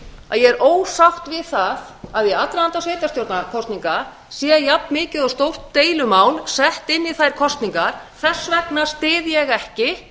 að ég er ósátt við það að í aðdraganda sveitarstjórnarkosninga sé jafn mikið og stórt deilumál sett inn í þær kosningar þess vegna styð ég ekki